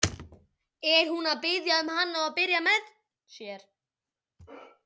Er hún að biðja hann um að byrja með sér?